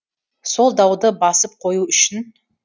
сол дауды басып қою үшін